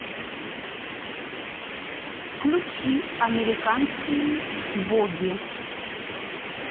включи американские боги